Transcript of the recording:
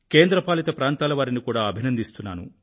కేంద్రపాలిత ప్రాంతాలవారిని కూడా అభినందిస్తున్నాను